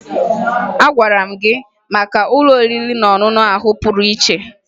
Agwara m gị maka ụlọ oriri na ọṅụṅụ ahụ pụrụ iche